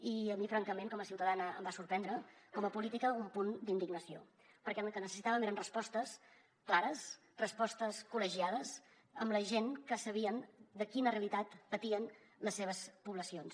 i a mi francament com a ciutadana em va sorprendre com a política un punt d’indignació perquè el que necessitàvem eren respostes clares respostes col·legiades amb la gent que sabien quina realitat patien les seves poblacions